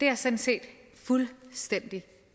jeg sådan set fuldstændig